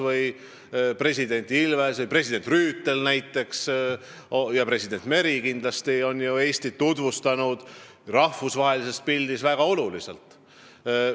Võtame president Ilvese, president Rüütli ja president Meri – kindlasti on nad Eestit rahvusvahelisel areenil väga olulisel määral tutvustanud.